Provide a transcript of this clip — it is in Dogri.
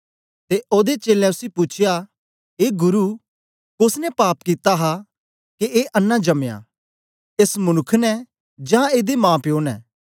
ते ओदे चेलें उसी पूछया ए गुरु कोस ने पाप कित्ता हा के ए अन्नां जमया एस मनुक्ख ने जां एदे माप्यो ने